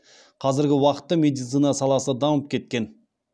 қазіргі уақытта медицина саласы дамып кеткен